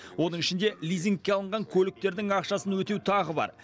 оның ішінде лизингке алынған көліктердің ақшасын өтеу тағы бар